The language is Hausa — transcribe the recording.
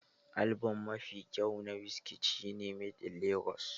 Album mafi kyawo na Wizkid shi ne "Made in lagos".